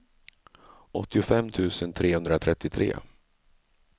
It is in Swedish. åttiofem tusen trehundratrettiotre